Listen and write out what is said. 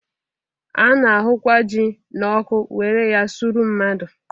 A na-ahụkwa jị n'ọkụ were ya suru mmadụ.